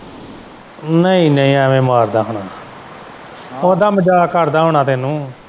ਨਹੀਂ ਨਹੀਂ ਐਂਵੇ ਮਾਰਦਾ ਹੋਣਾ ਓਦਾਂ ਮਜਾਕ ਕਰਦਾ ਹੋਣਾ ਤੈਨੂੰ ।